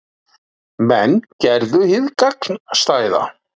Menn gerðu hið gagnstæða